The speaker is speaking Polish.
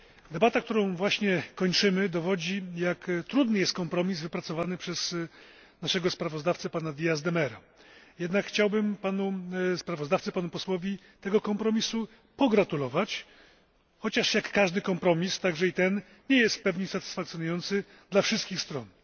Debata, którą właśnie kończymy dowodzi, jak trudny jest kompromis wypracowany przez naszego sprawozdawcę, pana Díaza de Mera. Jednak chciałbym panu posłowi sprawozdawcy tego kompromisu pogratulować, chociaż jak każdy kompromis, także i ten nie jest w pełni satysfakcjonujący dla wszystkich stron.